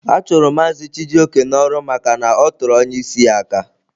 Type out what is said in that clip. A chụrụ Mazị Chijioke n'ọrụ maka na ọ tụrụ onye isi ya aka.